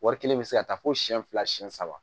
Wari kelen bɛ se ka taa fo siyɛn fila siyɛn saba